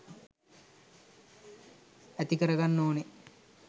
ඇති කරගන්න ඕනේ.